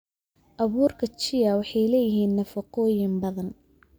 Abuurka chia waxay leeyihiin nafaqooyin badan.